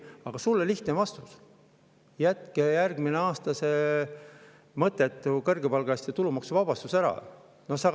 Aga sulle lihtne vastus: jätke järgmisel aastal see mõttetu kõrgepalgaliste tulumaksu ära.